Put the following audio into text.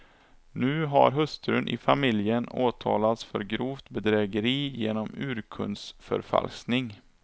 Nu har hustrun i familjen åtalats för grovt bedrägeri genom urkundsförfalskning.